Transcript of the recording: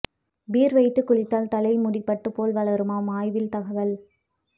beer வைத்து குழித்தால் தலை முடி பட்டு போல் வளருமாம் ஆய்வில் தகவல்